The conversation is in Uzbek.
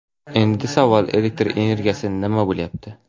Endi savol: Elektr energiyasi nima bo‘lyapti?